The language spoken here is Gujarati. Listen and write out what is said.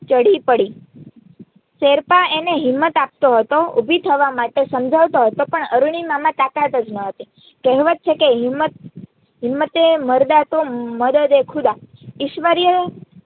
ઢળી પડી શેરપા એને હિંમત આપતો હતો ઉભી થવા માટે સમજાવતો હતો પણ અરૂણિમામાં તાકાત જ હતી કેહવત છે કે હિંમતએ મર્દા તો મદદે ખુદા ઈશ્વરીય